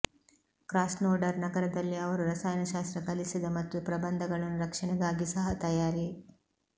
Krasnodar ನಗರದಲ್ಲಿ ಅವರು ರಸಾಯನಶಾಸ್ತ್ರ ಕಲಿಸಿದ ಮತ್ತು ಪ್ರಬಂಧಗಳನ್ನು ರಕ್ಷಣೆಗಾಗಿ ಸಹ ತಯಾರಿ